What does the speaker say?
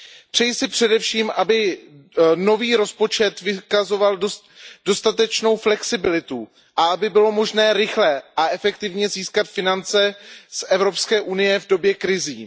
Přeji si především, aby nový rozpočet vykazoval dostatečnou flexibilitu a aby bylo možné rychle a efektivně získat finance z EU v době krizí.